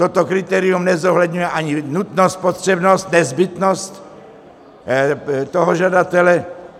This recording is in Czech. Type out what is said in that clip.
Toto kritérium nezohledňuje ani nutnost, potřebnost, nezbytnost toho žadatele.